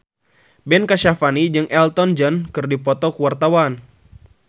Ben Kasyafani jeung Elton John keur dipoto ku wartawan